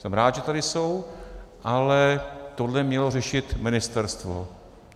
Jsem rád, že tady jsou, ale tohle mělo řešit ministerstvo.